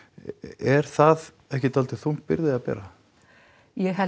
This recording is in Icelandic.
er það ekki þung byrgði að bera ég held